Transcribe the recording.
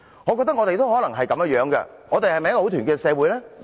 "我認為我們可能也是這樣，我們是否很團結的社會？